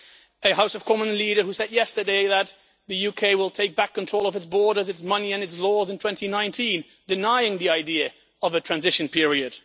a House of Commons leader who said yesterday that the UK will take back control of its borders, its money and its laws in 2019, denying the idea of a transition period